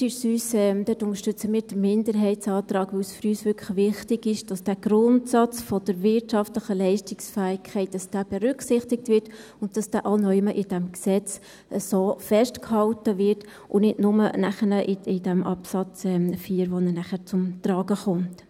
Da unterstützen wir den Minderheitsantrag, weil es für uns wirklich wichtig ist, dass der Grundsatz der wirtschaftlichen Leistungsfähigkeit berücksichtigt wird und dass dieser auch irgendwo in diesem Gesetz festgehalten wird und nicht bloss nachher in diesem Absatz 4, in dem er zum Tragen kommt.